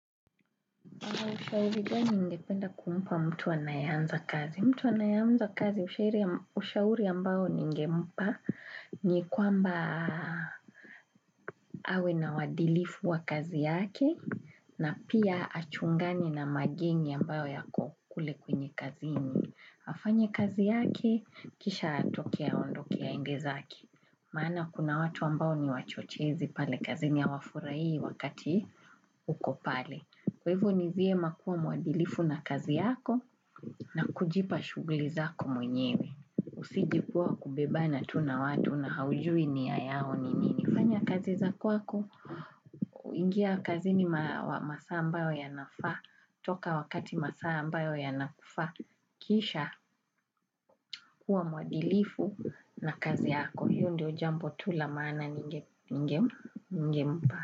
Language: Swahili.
Kwa ushauri ganini ngependa kumpa mtu anayanza kazi. Mtu anayeanza kazi ushauri ambao ningempa ni kwamba awe na waadilifu wa kazi yake na pia achungani na mageni ambao yako kule kwenye kazini. Afanye kazi yake kisha atokea ondo kia ingezaki. Maana kuna watu ambao ni wachochezi pale kazini ya wafurai wakati ukopale. Kwa hivyo ni vyema makuwa mwadilifu na kazi yako na kujipa shuguli zako mwenyewe. Usijipuwa kubeba na tu na watu na haujui ni ya yao ni nini. Fanya kazi za kwako, ingia kazi ni masaa ambayo ya nafa. Toka wakati masaa mbayo ya nafaa, kisha kuwa mwadilifu na kazi yako. Hiiondio jambo tu lamana nge mpa.